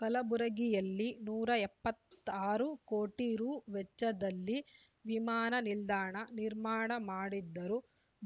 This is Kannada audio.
ಕಲಬುರಗಿಯಲ್ಲಿ ನೂರ ಎಪ್ಪತ್ತಾರು ಕೋಟಿ ರು ವೆಚ್ಚದಲ್ಲಿ ವಿಮಾನ ನಿಲ್ದಾಣ ನಿರ್ಮಾಣ ಮಾಡಿದ್ದರೂ